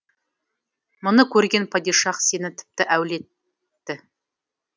мұны көрген падишах сені тіпті әулетті